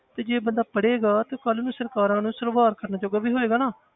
ਤੇ ਜੇ ਬੰਦਾ ਪੜ੍ਹੇਗਾ ਤੇ ਉਹ ਕੱਲ੍ਹ ਨੂੰ ਸਰਕਾਰਾਂ ਨੂੰ ਸਵਾਲ ਕਰਨ ਜੋਗਾ ਵੀ ਹੋਏਗਾ ਨਾ,